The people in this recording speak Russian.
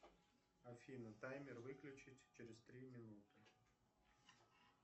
афина таймер выключить через три минуты